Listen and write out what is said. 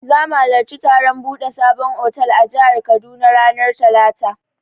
Za mu halarci taron buɗe sabon otal a jihar Kaduna ranar talata.